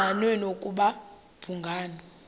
engqanweni ukuba babhungani